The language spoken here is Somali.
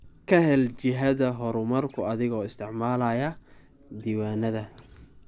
Ka hel jihada horumarka adiga oo isticmaalaya diiwaanada.